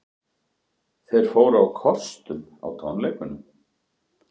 Þeir fóru á kostum á tónleikunum